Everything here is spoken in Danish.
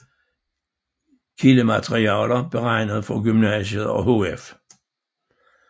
Kildematerialer beregnet for gymnasiet og HF